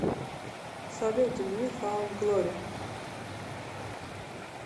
салют нью фаунд глори